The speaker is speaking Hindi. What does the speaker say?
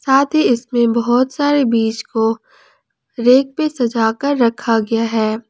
साथ ही इसमें बहुत सारे बीज को रेक पे सजा के रखा गया है।